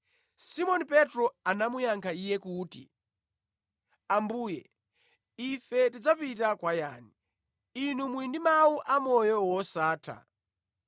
Simoni Petro anamuyankha Iye kuti, “Ambuye, ife tidzapita kwa yani? Inu muli ndi mawu amoyo wosatha.